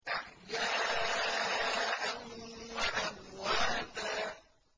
أَحْيَاءً وَأَمْوَاتًا